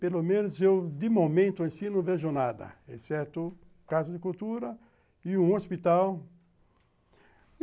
Pelo menos, eu, de momento, assim, não vejo nada, exceto Casa de Cultura e um hospital.